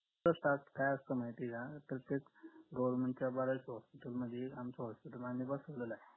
तर त्यात काय असत माहिते का तर त्या government च्या बऱ्याच hospital आमचं hospital आम्ही बसवलेलंया